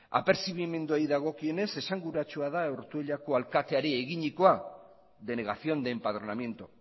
aperzibimenduei dagokienez esanguratsua da ortuellako alkateari eginikoa denegación de empadronamiento